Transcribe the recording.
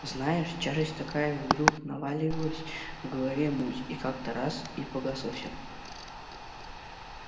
знаешь тяжесть такая вдруг навалилась в голове муть и как-то так раз и погасло все